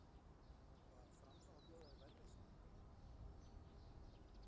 Var Fram þá að bjóða þér verri samning en áður?